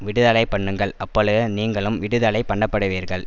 விடுதலைபண்ணுங்கள் அப்பொழுது நீங்களும் விடுதலைபண்ணப்படுவீர்கள்